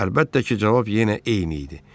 Əlbəttə ki, cavab yenə eyni idi.